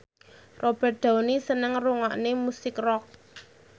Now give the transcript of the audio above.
Robert Downey seneng ngrungokne musik rock